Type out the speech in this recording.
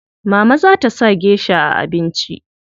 Mama za ta sa gesha a abinci.